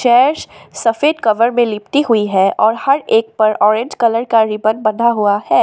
Chairs सफेद colour में लिपटी हुई है और हर एक पर ऑरेंज कलर का रिबन बंधा हुआ है।